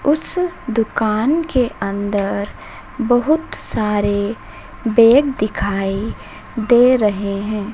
उस दुकान के अंदर बहोत सारे बैग दिखाई दे रहे हैं।